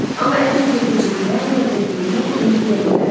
Amma əlim girdi cibimə, nə verdiyimi indi deyə bilmərəm.